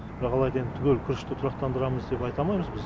бірақ алайда енді түгел күрішті тұрақтандырамыз деп айта алмаймыз